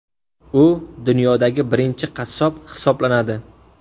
U dunyodagi birinchi qassob hisoblanadi.